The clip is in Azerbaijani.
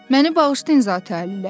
Məni bağışlayın, Zati-aliləri!